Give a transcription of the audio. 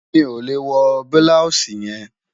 Mi ò lè wọ́ blọúṣì yẹn